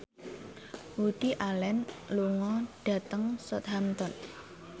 Woody Allen lunga dhateng Southampton